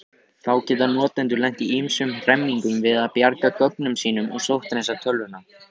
Þá geta notendur lent í ýmsum hremmingum við að bjarga gögnunum sínum og sótthreinsa tölvuna.